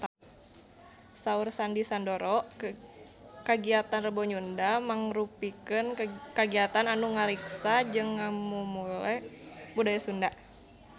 Saur Sandy Sandoro kagiatan Rebo Nyunda mangrupikeun kagiatan anu ngariksa jeung ngamumule budaya Sunda